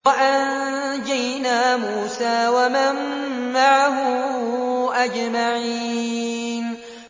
وَأَنجَيْنَا مُوسَىٰ وَمَن مَّعَهُ أَجْمَعِينَ